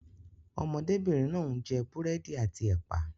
Ọmọdébìnrin náà ń jẹ búrẹ́dì àti ẹ̀pà.